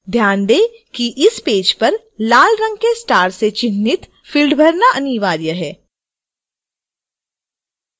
ध्यान दें कि इस पेज पर लाल रंग के स्टार से चिन्हित fields भरना अनिवार्य है